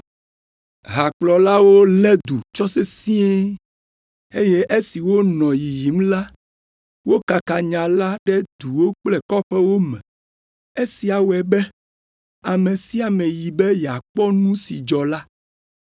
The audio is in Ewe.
Hakplɔlawo lé du tsɔ sesĩe eye esi wonɔ yiyim la, wokaka nya la ɖe duwo kple kɔƒewo me. Esia wɔe be ame sia ame yi be yeakpɔ nu si dzɔ la.